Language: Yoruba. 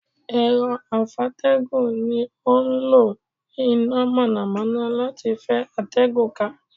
Èro afeategun ni o n lo ina mònàmóná lati fe atégùn ka